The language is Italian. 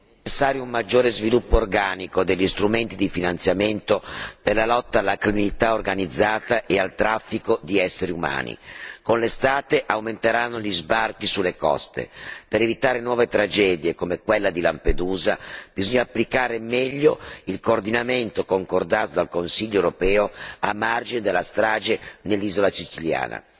Signor Presidente, onorevoli colleghi, fissare un maggiore sviluppo organico degli strumenti di finanziamento per la lotta alla criminalità organizzata e al traffico di esseri umani. Con l'estate aumenteranno gli sbarchi sulle coste. Per evitare nuove tragedie come quella di Lampedusa, bisogna applicare meglio il coordinamento concordato dal Consiglio europeo a margine della strage nell'isola siciliana.